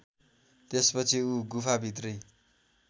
त्यसपछि ऊ गुफाभित्रै